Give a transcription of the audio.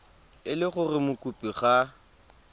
e le gore mokopi ga